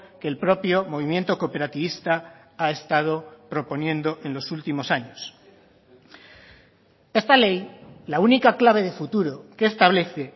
que el propio movimiento cooperativista ha estado proponiendo en los últimos años esta ley la única clave de futuro que establece